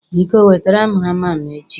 Biko wetere m hama m echi.